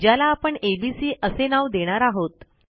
ज्याला आपण एबीसी असे नाव देणार आहोत